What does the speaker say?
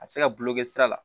A bɛ se ka gulonkɛ sira la